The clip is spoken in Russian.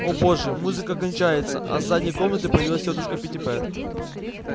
о боже музыка кончается а с задней комнаты появилась тётушка питтипэт